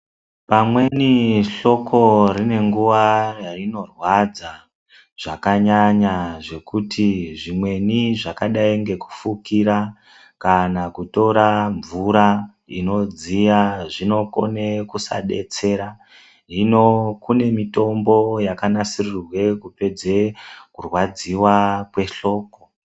Pamweni hloko rine nguwa yarinorwadza zvakanyanya zvekuti zvimweni zvakadai ngekufukira kana kutora mvura inodziya zvinokone kusadetsera hino kune mitombo yakanasirirwe kupedze kurwadziwa kwehloko.